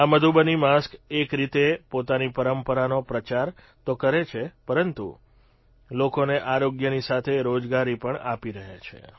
આ મધુબની માસ્ક એક રીતે પોતાની પરંપરાનો પ્રચાર તો કરે છે પરંતુ લોકોને આરોગ્યની સાથે રોજગારી પણ આપી રહ્યા છે